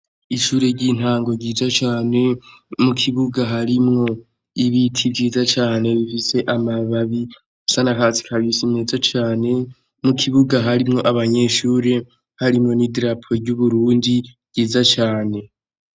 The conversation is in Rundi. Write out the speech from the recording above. ishure ry'intango ryiza cane mu kibuga harimwo ibiti vyiza cane bifise amababi asa n'akatsi kabisi meza cane mu kibuga harimwo abanyeshure harimwo n'idarapo ry'Uburundi ryiza cane.